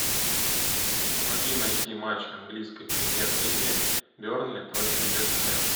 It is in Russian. помоги найти матч английской премьер лиги бернли против вест хэма